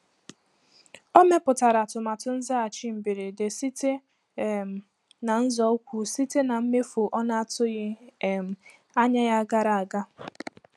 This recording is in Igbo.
O mepụtara atụmatụ nzaghachi mberede site um na nzọụkwụ site na mmefu ọ na-atụghị um anya ya gara aga.